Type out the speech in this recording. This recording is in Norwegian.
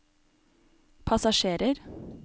passasjerer